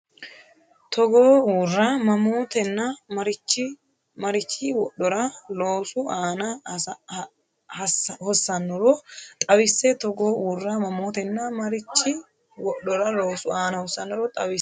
Togoo uurra mamootenna mariachi wodhora loosu aana hossannoro xawisse Togoo uurra mamootenna mariachi wodhora loosu aana hossannoro xawisse Togoo uurra.